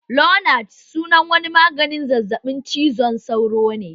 Lonart sunan wani maganin zazzaɓin cizon sauro ne